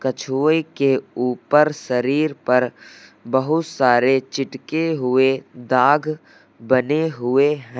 कछुए के ऊपर शरीर पर बहुत सारे चिटके हुए दाग बने हुए है।